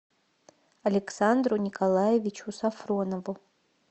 александру николаевичу сафронову